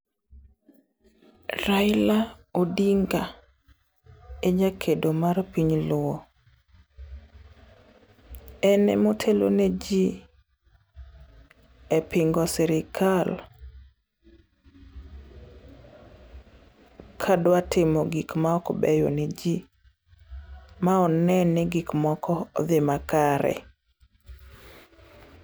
Raila Odinga, e jakedo mar piny luo. En emotelo neji epingo sirkal kadwa timo gik maok beyo neji, ma one ni gik moko odhi makare.